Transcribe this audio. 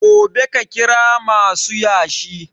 Gobe ka kira masu yashi